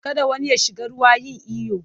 Kada wani ya shiga ruwa yin iyo!